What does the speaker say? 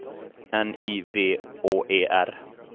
N I V Å E R